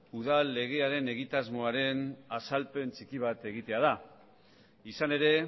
udal legearen egitasmoaren azalpen txiki bat egitea da izan ere